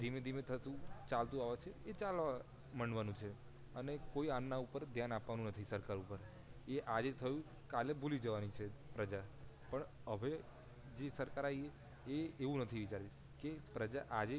ધીમે ધીમે થયુ ચાલતું આવે છે એ ચાલવા માંડવા નું છે અને કોઈ એમના પર ધ્યાન આપવાનું નથી સરકાર ઉપર એ આજે થયું કાલે ભૂલી જવાંની છે પ્રજા પણ હવે જે સરકાર આઈ એ એવું નથી વિચાર તી કે પ્રજા આજે